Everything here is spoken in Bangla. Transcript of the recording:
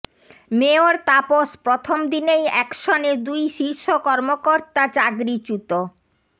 মেয়র তাপস প্রথম দিনেই অ্যাকশনে দুই শীর্ষ কর্মকর্তা চাকরিচ্যুত